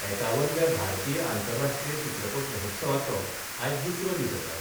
एकावनव्या भारतीय आंतरराष्ट्रीय चित्रपट महोत्सवाचो आयज दुसरो दीस आसा.